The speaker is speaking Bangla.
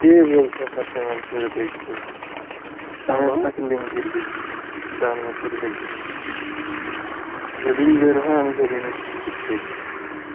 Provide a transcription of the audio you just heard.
কে বলসে আপনার payment করে দেখবে? আপনাকে link দিয়া দেবো, download করে দেখে নিবেন, যেদিনই বের হয় আমি সেদিনই দে~ দেখি